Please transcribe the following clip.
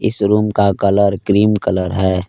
Showroom का colour cream colour है।